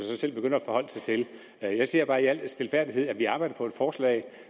så selv begynder at forholde sig til jeg siger bare i al stilfærdighed at vi arbejder på et forslag